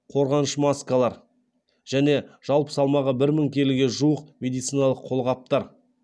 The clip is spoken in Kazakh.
қорғаныш маскалар және жалпы салмағы бір мың келіге жуық медициналық қолғаптар